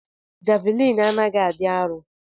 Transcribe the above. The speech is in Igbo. Javlin anaghi adi arọ.